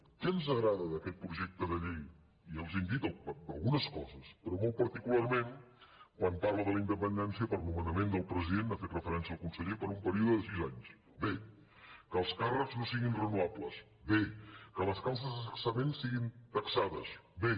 què ens agrada d’aquest projecte de llei i els ho hem dit d’algunes coses però molt particularment quan parla de la in·dependència per nomenament del president n’ha fet referència el conseller per un període de sis anys bé que els càrrecs no siguin renovables bé que les causes de cessament siguin taxades bé